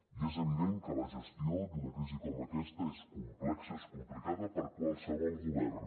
i és evident que la gestió d’una crisi com aquesta és complexa és complicada per a qualsevol govern